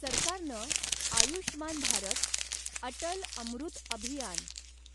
सरकारनं आयुष्मान भारत, अटल अमृत अभियान